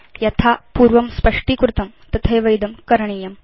यथा पूर्वं स्पष्टीकृतं तथैव इदं करणीयम्